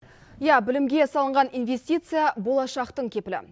иә білімге салынған инвестиция болашақтың кепілі